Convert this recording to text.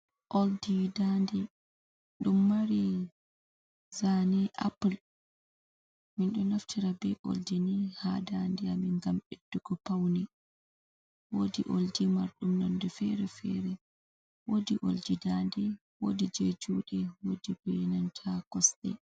Oldi dande ɗum mari zane apul. Minɗo naftira be oldi ni ha dande amin gam ɓeddugo paune. Wodi oldi marɗun nonde fere fere, wodi oldi dande, wodi je jude, wodi be nanta kosɗe.